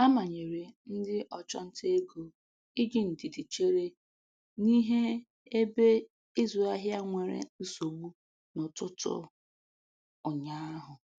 A manyere ndị ọchụnta ego iji ndidi chere n'ihe ebe ịzụ ahịa nwere nsogbu n'ụtụtụ ụnyaahụ.